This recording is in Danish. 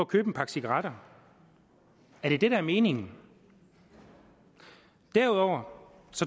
købe en pakke cigaretter er det det der er meningen derudover